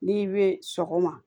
N'i bɛ sɔgɔma